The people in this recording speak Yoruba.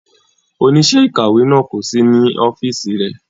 Oníṣẹ́ ìkàwé náà kò sí ní ọ́fíìsì rẹ̀.